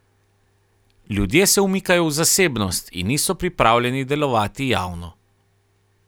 Ljudje se umikajo v zasebnost in niso pripravljeni delovati javno.